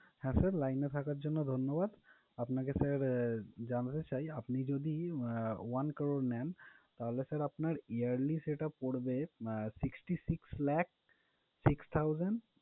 হ্যাঁ, sir line এ থাকার জন্য আপনাকে ধন্যবাদ, আপনাকে sir জানাতে চাই আপনি যদি আহ one crore নেন তাহলে sir আপনার yearly সেটা পরবে uh sixty six lakh six thousand